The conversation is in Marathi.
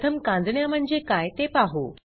प्रथम कांजिण्या म्हणजे काय ते पाहू